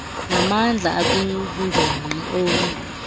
namandla okwingingqi omi